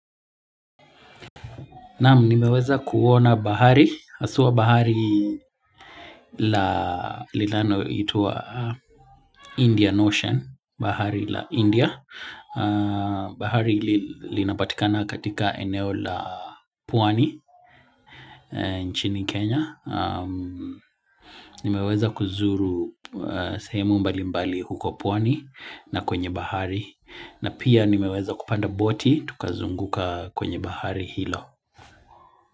Naam, nimeweza kuona bahari, haswa bahari la linaloitwa Indian Ocean, bahari la India. Bahari linapatikana katika eneo la pwani nchini Kenya. Nimeweza kuzuru sehemu mbali mbali huko pwani na kwenye bahari. Na pia nimeweza kupanda boti, tukazunguka kwenye bahari hilo.